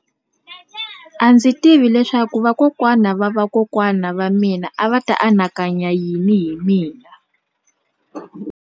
A ndzi tivi leswaku vakokwana-va-vakokwana va mina a va ta anakanya yini hi mina.